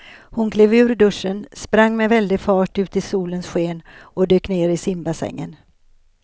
Hon klev ur duschen, sprang med väldig fart ut i solens sken och dök ner i simbassängen.